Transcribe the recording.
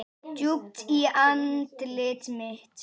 Djúpt í andlit mitt.